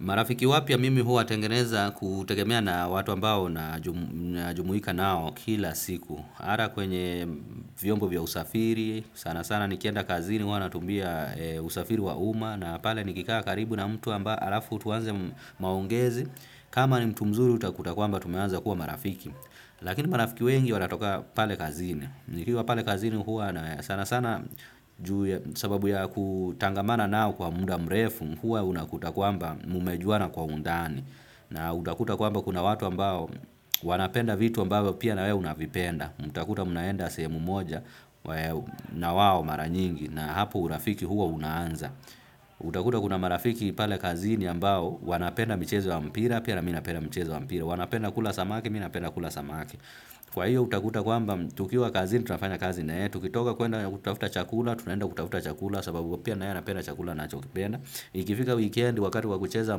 Marafiki wapya mimi huwatengeneza kutegemea na watu ambao najumuika nao kila siku. Ata kwenye vyombo vya usafiri, sana sana nikienda kazini huwa natumia usafiri wa uma, na pale nikikaa karibu na mtu amba alafu tuanze maongezi, kama ni mtu mzuri utakuta kwamba tumeanza kuwa marafiki. Lakini marafiki wengi wanatoka pale kazini. Nikiwa pale kazini huwa sana sana ju ya sababu ya kutangamana nao kwa muda mrefu, huwa unakuta kwamba mumejuana kwa undani na utakuta kwamba kuna watu ambao wanapenda vitu ambao pia nawewe unavipenda utakuta munaenda sehemu moja na wao mara nyingi na hapo urafiki huwa unaanza utakuta kuna marafiki pale kazini ambao wanapenda mchezo wa mpira pia na mi napenda mchezo wa mpira wanapenda kula samaki, mi napenda kula samaki kwa hiyo utakuta kwamba tukiwa kazini tunafanya kazi nae tukitoka kuenda kutafuta chakula, tunaenda kutavuta chakula sababu pia na yeye anapenda chakula nachokipenda. Ikifika weekend wakati wa kucheza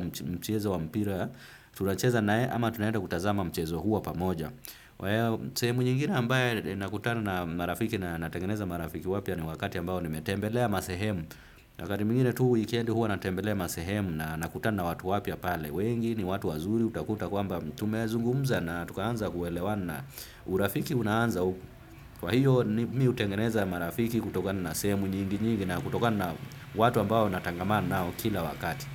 mchezo wa mpira, tunacheza nae ama tunaenda kutazama mchezo huo pamoja. Waya sehemu nyingine ambaye nakutana na marafiki na natengeneza marafiki wapya ni wakati ambao nimetembelea masehemu. Wakati mwingine tu weekend huwa natembelea masehemu na nakutana na watu wapya pale. Wengi ni watu wazuri utakuta kwamba tumezungumza na tukaanza kuelewana na urafiki unaanza. Kwa hiyo mi hutengeneza marafiki kutokana na sehemu nyingi nyingi na kutokana na watu ambao natangamana nao kila wakati.